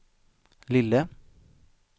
lille